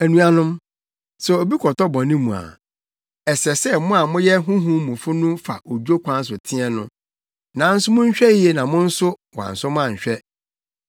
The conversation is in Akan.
Anuanom, sɛ obi kɔtɔ bɔne mu a, ɛsɛ sɛ mo a moyɛ honhom mufo no fa odwo kwan so teɛ no. Nanso monhwɛ yiye na mo nso wɔansɔ mo anhwɛ.